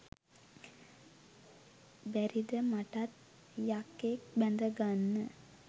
බැරිද මටත් යකෙක් බැඳගන්න